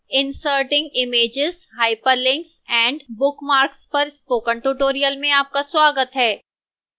inserting images hyperlinks & bookmarks पर spoken tutorial में आपका स्वागत है